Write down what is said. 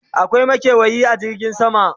akwai makewayi a jirgin sama?